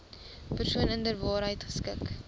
persoon inderwaarheid geskik